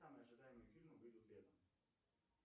самые ожидаемые фильмы выйдут летом